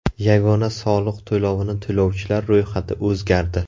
Yagona soliq to‘lovini to‘lovchilar ro‘yxati o‘zgardi.